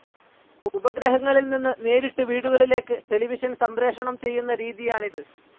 ഉപഗ്രഹങ്ങളിൽ നിന്ന് നേരിട്ട് വീടുകളിലേക്ക് ടെലിവിഷൻ സംപ്രേഷണം ചെയ്യുന്ന രീതിയാണിത്.